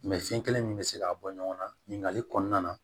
fiɲɛ kelen min bɛ se k'a bɔ ɲɔgɔn na ɲininkali kɔnɔna na